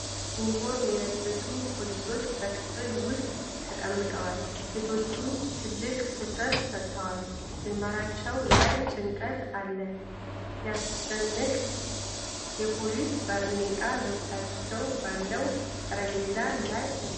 የዩኒፎርም ለበሱ ፖሊሶች በክፍል ውስጥ ተቀምጠዋል ። ሴቶቹ ጥልቅ ትኩረት ሰጥተዋል ፣ ግንባራቸው ላይ ጭንቀት አለ ። ሲያስጨንቅ! የፖሊስ ባርኔጣቸው በፊታቸው ባለው ጠረጴዛ ላይ አለ።